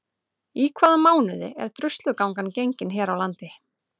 Í hvaða mánuði er Druslugangan gengin hér á landi?